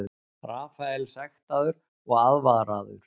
Rafael sektaður og aðvaraður